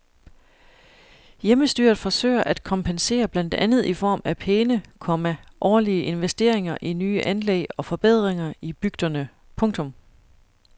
Hjemmestyret forsøger at kompensere blandt andet i form af pæne, komma årlige investeringer i nye anlæg og forbedringer i bygderne. punktum